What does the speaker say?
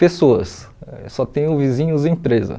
pessoas, só tenho vizinhos empresa.